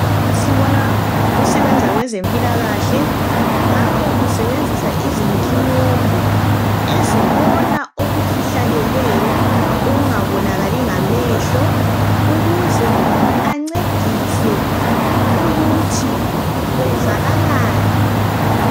Sibona osebenza kwezempilakahle. Lapho usebenzisa izinkinombo, ezibona okufihlakeleyo okungabonakali ngamehlo. Ukuze ancedise ukuthi kwenzakalani.